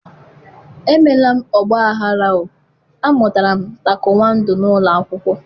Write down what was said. emela m ọgbaghara o, amụtara m taikwọndo n'ụlọ akwụkwọ